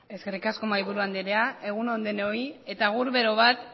zurea da hitza eskerrik asko mahaiburu andrea egun on denoi eta agur bero bat